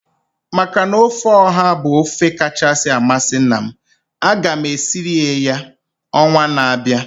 Maka na ofe ọha bụ ofe kachasị amasị nna m, aga m esirie ya ọnwa na-abịa